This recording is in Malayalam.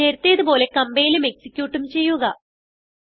നേരത്തേതു പോലെ കംപൈലും എക്സിക്യൂട്ടും ചെയ്യുക